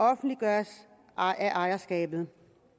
offentliggørelse af ejerskabet